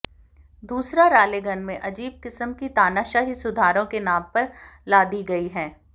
दूसरा रालेगन में अजीब किस्म की तानाशाही सुधारों के नाम पर लादी गयी है